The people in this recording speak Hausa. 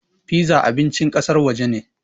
Piza abincin ƙasar waje ne.